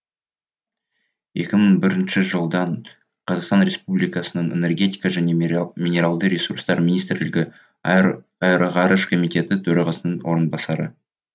екі мың бірінші жылдан қазақстан республикасының энергетика және минералды ресурстар министрлігі аэроғарыш комитеті төрағасының орынбасары